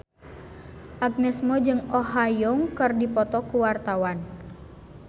Agnes Mo jeung Oh Ha Young keur dipoto ku wartawan